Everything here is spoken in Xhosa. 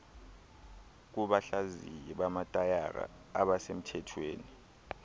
kubahlaziyi bamatayara abasemthethweni